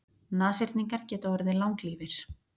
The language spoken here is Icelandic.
Nashyrningar geta orðið langlífir.